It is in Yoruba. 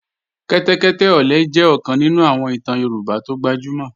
Kẹ́tẹ́kẹ́tẹ́ ọ̀lẹ jẹ́ ọ̀kan nínú àwọn ìtàn Yorùbá tó gbajúmọ̀